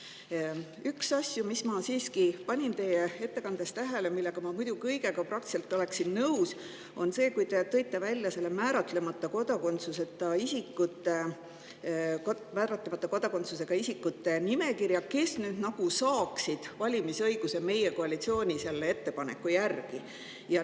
Üks asi, mida ma siiski panin teie ettekandes tähele – muidu ma oleksin peaaegu kõigega nõus –, on see, et te tõite välja nende määratlemata kodakondsusega isikute nimekirja, kes nüüd saaksid valimisõiguse koalitsiooni ettepaneku järgi.